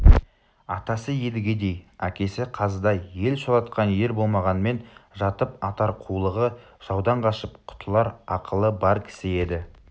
атасы едігедей әкесі қазыдай ел шулатқан ер болмағанмен жатып атар қулығы жаудан қашып құтылар ақылы бар кісі еді